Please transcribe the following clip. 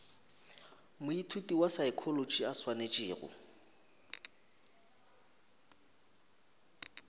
moithuti wa saekholotši a swanetšego